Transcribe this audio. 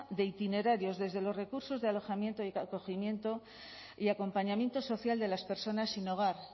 de itinerarios desde los recursos de alojamiento y acogimiento y acompañamiento social de las personas sin hogar